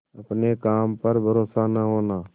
अपने काम पर भरोसा न होना